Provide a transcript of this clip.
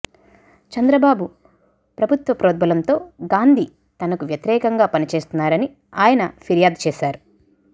చంద్రబాబు ప్రభుత్వ ప్రోద్బలంతో గాంధీ తనకు వ్యతిరేకంగా పనిచేస్తున్నారని ఆయన ఫిర్యాదు చేశారు